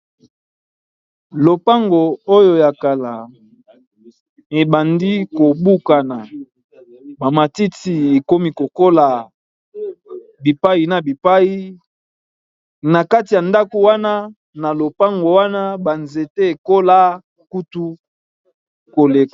Lopango oyo ya kala ebandi kobukana bamatiti ekomi kokola bipai na bipai na kati ya ndako wana na lopango wana banzete ekola kutu koleka.